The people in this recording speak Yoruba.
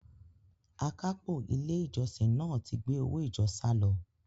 Akápò ilé ìjọsìn náà ti gbé owó ìjọ sálọ.